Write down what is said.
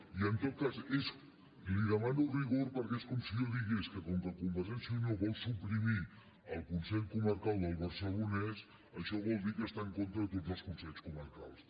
i en tot cas li demano rigor perquè és com si jo digués que com que convergència i unió vol suprimir el consell comarcal del barcelonès això vol dir que està en contra de tots els consells comarcals